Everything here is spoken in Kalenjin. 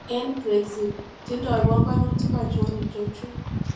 En Brexit: Tindoi panganutik achon ichochu?